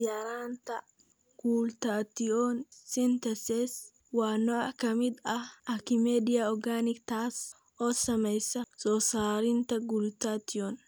Yaraanta Glutathione synthetase waa nooc ka mid ah acidemia organic taas oo saamaysa soo saarista glutathione.